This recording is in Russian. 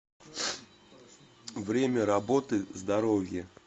время работы здоровье